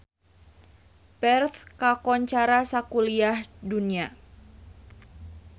Perth kakoncara sakuliah dunya